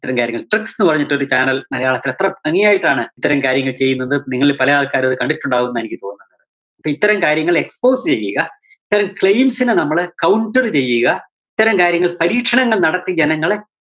അത്തരം കാര്യങ്ങള്‍. tricks ന്ന് പറഞ്ഞിട്ടൊരു channel മലയാളത്തില്‍ എത്ര ഭംഗിയായിട്ടാണ് ഇത്തരം കാര്യങ്ങള്‍ ചെയ്യുന്നത്. നിങ്ങളില്‍ പല ആള്‍ക്കാരും അത് കണ്ടിട്ടുണ്ടാവുന്നാ എനിക്ക് തോന്നുന്നത്. ഇപ്പം ഇത്തരം കാര്യങ്ങള്‍ expose ചെയ്യുക, ഇത്തരം claims നെ നമ്മള് counter ചെയ്യുക. ഇത്തരം കാര്യങ്ങള്‍ പരീക്ഷണങ്ങള്‍ നടത്തി ജനങ്ങളെ